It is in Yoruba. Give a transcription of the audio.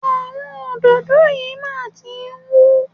Àwọn òdòdó yìí máa tí ń hú.